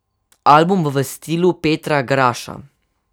Album bo v stilu Petra Graša.